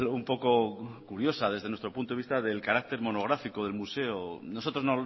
un poco curiosa desde nuestro punto de vista del carácter monográfico del museo nosotros